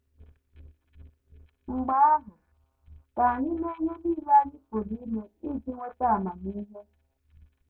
Mgbe ahụ, ka anyị mee ihe nile anyị pụrụ ime iji nweta amamihe.